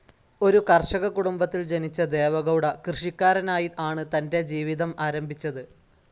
ഒരു കർഷക കുടുംബത്തിൽ ജനിച്ച ദേവെഗൗഡ കൃഷിക്കാ‍രനായി ആണ് തന്റെ ജീവിതം ആരംഭിച്ചത്.